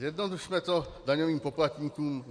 Zjednodušme to daňovým poplatníkům.